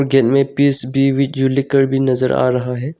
केन में पीस भी जुलीकर भी नजर आ रहा है।